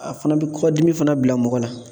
A fana bɛ kɔgɔdimi fana bila mɔgɔ la